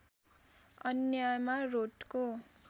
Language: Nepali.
अन्यमा रोटको